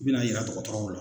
I bɛna yira tɔgɔtɔrɔw la.